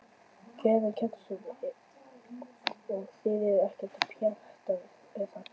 Karen Kjartansdóttir: Og þið eruð ekkert pjattaðar með þetta?